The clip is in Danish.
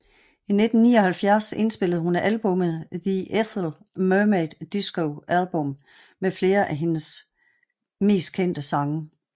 I 1979 indspillede hun albummet The Ethel Merman Disco Album med flere af hendes mest kendte sange